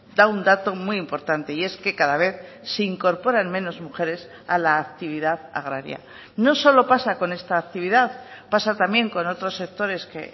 da un dato muy importante y es que cada vez se incorporan menos mujeres a la actividad agraria no solo pasa con esta actividad pasa también con otros sectores que